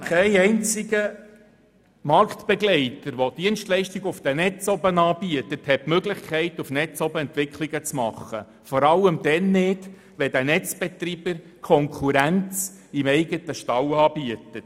Kein einziger Marktbegleiter, der Dienstleistungen auf den Netzen anbietet, hat die Möglichkeit, Entwicklungen auf den Netzen zu machen – vor allem dann nicht, wenn der Netzbetreiber Konkurrenz im eigenen Stall anbietet.